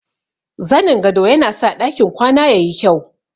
Zanin gado yana sa ɗakin kwana ya yi kyau.